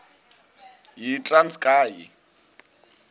yitranskayi